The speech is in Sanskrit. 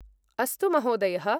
अस्तु, महोदयः।